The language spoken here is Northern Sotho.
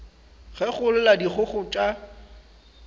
ge go lla dikgogo tša